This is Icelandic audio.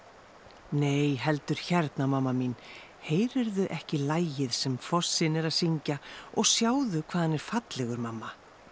nei heldur hérna mamma mín heyrirðu ekki lagið sem fossinn er að syngja og sjáðu hvað hann er fallegur mamma